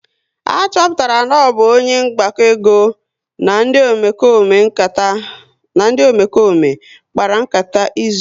A chọpụtara na ọ bụ onye mgbakọego na ndị Omekome kpara nkata izu ụlọaku ahụ ohi